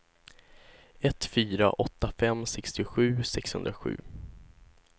ett fyra åtta fem sextiosju sexhundrasju